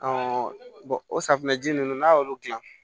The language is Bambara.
o safunɛ ji ninnu n'a y'olu dilan